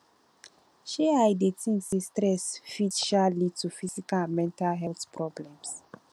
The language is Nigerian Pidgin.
um i dey think say stress fit um lead to physical and mental health problems